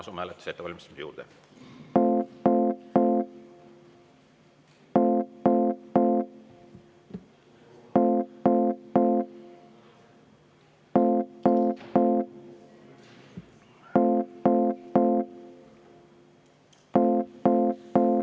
Asume hääletuse ettevalmistamise juurde.